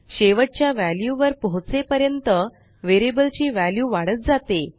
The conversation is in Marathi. शेवटच्या वॅल्यू वर पोहचेपर्यंत वेरियबल ची वॅल्यू वाढत जाते